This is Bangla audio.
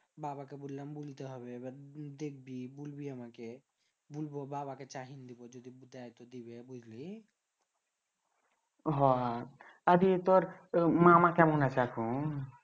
বাবাকে বুললাম বুলতে হবে এবার দেখবি বুলবি আমাকে বুলবো বাবাকে চাহীন দিবো যদি দেয় তো দিবে বুঝলি হ আর ই তর মামা কেমন আছে এখন